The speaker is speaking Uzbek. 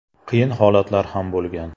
Qiyin holatlar ham bo‘lgan.